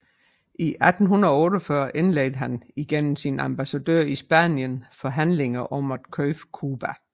I 1848 indledte han igennem sin ambassadør i Spanien forhandlinger om at købe Cuba